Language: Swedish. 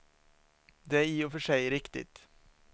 Det är i och för sig riktigt.